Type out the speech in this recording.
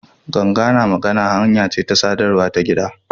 Ganga na magana hanya ce ta sadarwa ta gida.